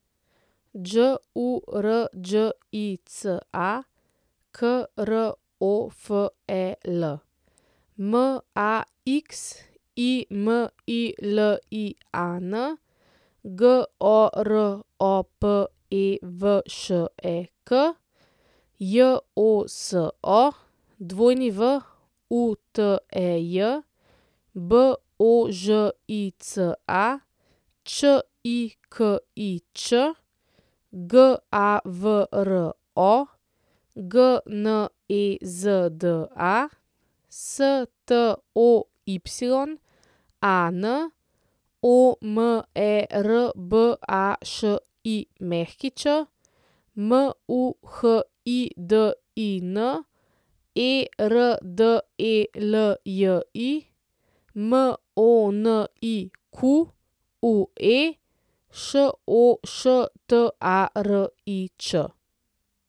Đurđica Krofel, Maximilian Goropevšek, Joso Wutej, Božica Čikič, Gavro Gnezda, Stoyan Omerbašić, Muhidin Erdelji, Monique Šoštarič.